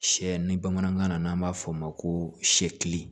Sɛ ni bamanankan na n'an b'a fɔ o ma ko